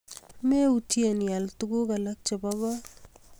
Meutye ial tuguk alak chepo kot